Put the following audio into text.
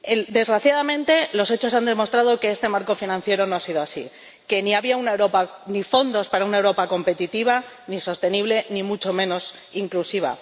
Desgraciadamente, los hechos han demostrado que el marco financiero no ha sido así, que no había fondos para una Europa competitiva, ni sostenible, ni mucho menos inclusiva.